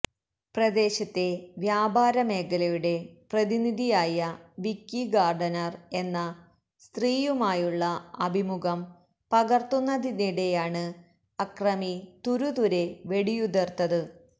പ്രദേശത്തെ വ്യാപാര മേഖലയുടെ പ്രതിനിധിയായ വിക്കി ഗാർഡനർ എന്ന സ്ത്രീയുമായുള്ള അഭിമുഖം പകർത്തുന്നതിനിടെയാണ് അക്രമി തുരുതുരെ വെടിയുതിർത്തത്